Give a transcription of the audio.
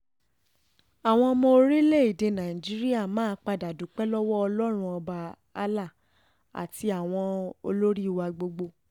àwọn ọmọ orílẹ̀‐èdè nàíjíríà máa padà dúpẹ́ lọ́wọ́ ọlọ́run ọba allah àti àwọn olórí wa gbogbo